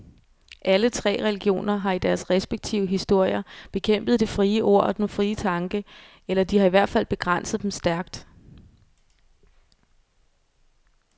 Alle tre religioner har i deres respektive historier bekæmpet det frie ord og den frie tanke, eller de har i hvert fald begrænset dem stærkt.